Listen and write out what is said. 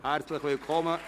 Herzlich willkommen!